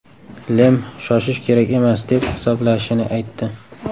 Lem shoshish kerak emas, deb hisoblashini aytdi.